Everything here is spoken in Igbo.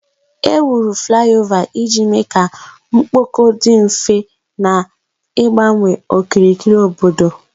Ewuru fulaiova iji mee ka mkpọkọ dị mfe, na-igbanwe okirikiri obodo.